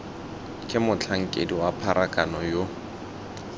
ke motlhankedi wa pharakano yo